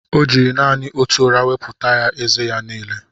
O ji nanị otù ụrà wọpụta ézé ya n'ile